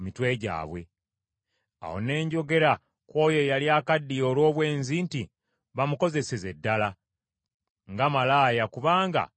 Awo ne njogera ku oyo eyali akaddiye olw’obwenzi nti, ‘Bamukozeseze ddala nga malaaya kubanga ekyo kyali.’